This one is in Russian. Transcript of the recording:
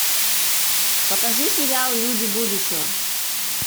покажи сериал люди будущего